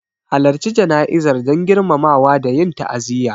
Halarci jana'izar don girmamawa da yin ta'aziyya.